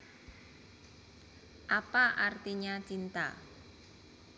Apa Artinya Cinta